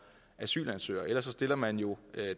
asylansøgere ellers stiller man jo